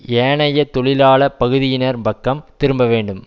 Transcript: ஏனைய தொழிலாள பகுதியினர் பக்கம் திரும்ப வேண்டும்